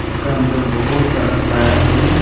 उसका अंदर बहुत सारा टायर है।